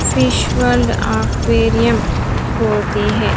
Fish World aquarium होती है।